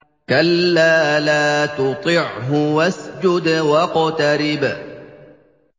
كَلَّا لَا تُطِعْهُ وَاسْجُدْ وَاقْتَرِب ۩